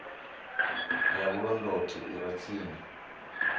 ya vhulondoti i re tsini